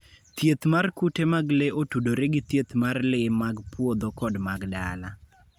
Thieth mar kute mag le otudore gi thieth mar le mag puodho kod mag dala.